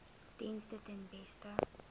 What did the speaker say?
dienste ten beste